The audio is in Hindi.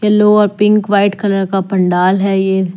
लो और पिंक वाइट कलर का पंडाल है ये।